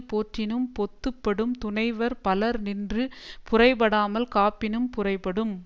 போற்றினும் பொத்து படும் துணைவர் பலர் நின்று புரைபடாமல் காப்பினும் புரைபடும்